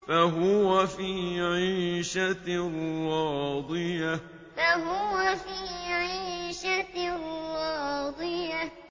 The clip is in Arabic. فَهُوَ فِي عِيشَةٍ رَّاضِيَةٍ فَهُوَ فِي عِيشَةٍ رَّاضِيَةٍ